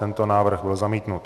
Tento návrh byl zamítnut.